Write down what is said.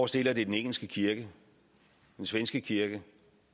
stiller det den engelske kirke den svenske kirke